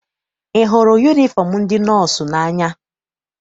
Ị hụrụ yunifọm ndị nọọsụ n'anya?